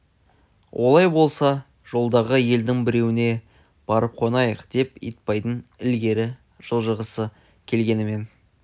олай болса жолдағы елдің біреуіне барып қонайық деп итбайдың ілгері жылжығысы келгенмен